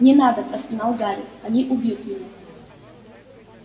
не надо простонал гарри они убьют меня